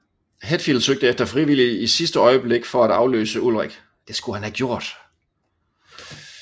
Hetfield søgte efter frivillige i sidste øjeblik for at afløse Ulrich